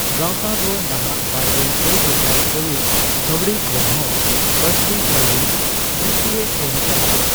ᱜᱟᱣᱛᱟ ᱫᱚ ᱱᱟᱦᱟᱜ ᱵᱟᱨᱜᱮᱞ ᱯᱮ ᱜᱮᱥᱟᱭ ᱠᱟᱨᱩᱲ ᱠᱟᱣᱰᱤ ᱠᱷᱚᱱ ᱦᱚᱸ ᱵᱟᱹᱲᱛᱤ ᱠᱟᱹᱣᱰᱤ ᱵᱨᱤᱛᱤᱭ ᱮᱢ ᱪᱟᱞᱟᱣᱟ ᱾